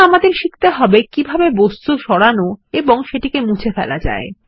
এখন আমাদের শিখতে হবে কিভাবে বস্তু সরানো এবং সেটিকে মুছে ফেলা যায়